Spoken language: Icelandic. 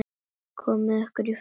Komiði ykkur í fötin.